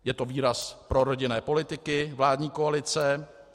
Je to výraz prorodinné politiky vládní koalice.